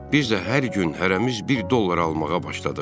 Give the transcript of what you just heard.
Biz də hər gün hərəmiz bir dollar almağa başladıq.